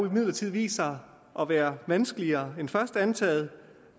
imidlertid vist sig at være vanskeligere end først antaget